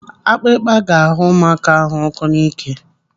Akpịrịkpa ga-agha ụmụaka ahụ ọkọ n'ike.